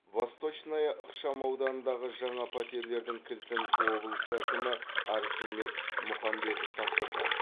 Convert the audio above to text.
восточная ықшамауданындағы жаңа пәтерлердің кілтін облыс әкімі архимед мұхамбетов тапсырды